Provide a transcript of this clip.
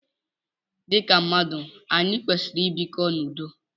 Dịka mmadụ, anyị kwesịrị i bikọ n'udo.